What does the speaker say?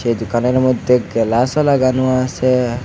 এই দোকানের মধ্যে গেলাসও লাগানো আছে।